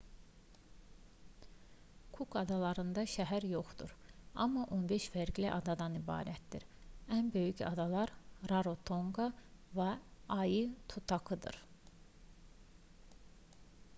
kuk adalarında şəhər yoxdur amma 15 fərqli adadan ibarətdir ən böyük adalar rarotonqa və aitutakidir